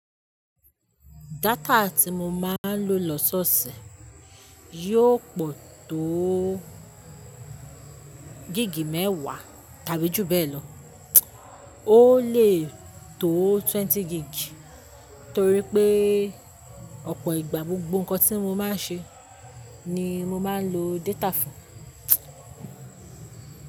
Data tí mo máa ń lò lọ́ṣọ̀ọ̀ṣẹ̀ yóò pọ̀ tóó gig mẹ́wàá tàbí jù bẹ́ẹ̀ lọ. Ó lè tóó twenty gig torí pé ọ̀pọ̀ ìgbà gbogbo ǹkan tí mo máa ń ṣe ni mo máa ń lo data fún.